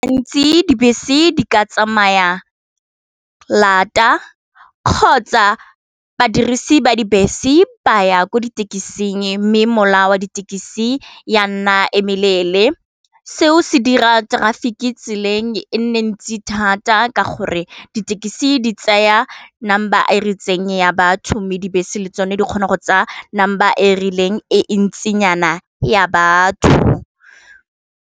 Gantsi dibese di ka tsamaya lata kgotsa badirisi ba dibese ba ya ko ditekising mme mola wa ditekisi ya nna emelele seo se dira traffic tseleng e nne ntsi thata ka gore ditekisi di tsaya number e retseng ya batho, mme dibese le tsone di kgona go tsa nama ba e rileng e e ntsinyana ya batho.